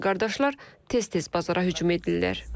Həmin qardaşlar tez-tez bazara hücum edirlər.